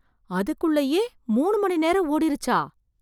அதுக்குள்ளயே, மூணு மணி நேரம் ஓடிருச்சா.